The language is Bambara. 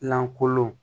Lankolon